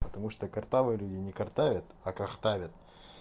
потому что картавые люди не картавят а картавят